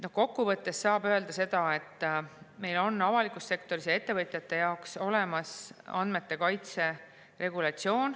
Kokku võttes saab öelda seda, et meil on avalikus sektoris ja ettevõtjate jaoks olemas andmete kaitse regulatsioon.